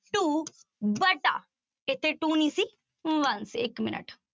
Two ਵਟਾ ਇੱਥੇ two ਨੀ ਸੀ one ਸੀ ਇੱਕ minute